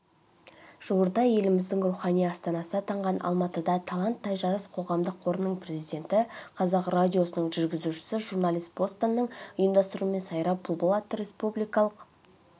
жуырда еліміздің рухани астанасы атанған алматыда талант тайжарыс қоғамдық қорының президенті қазақ радиосының жүргізушісі журналист бостанның ұйымдастыруымен сайра бұлбұл атты республикалық